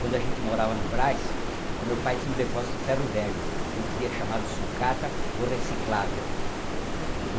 Quando a gente morava no Braz, meu pai tinha um depósito de ferro velho, que hoje em dia é chamado de sucata ou reciclável.